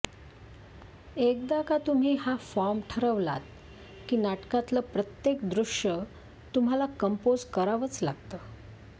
एकदा का तुम्ही हा फॉर्म ठरवलात की नाटकातलं प्रत्येक दृष्य तुम्हाला कम्पोझ करावंच लागतं